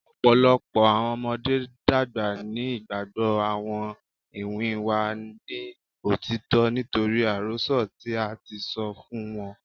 Ọpọlọpọ awọn ọmọde dagba ni igbagbọ awọn iwin wa ni otitọ nitori arosọ ti a ti sọ fun wọn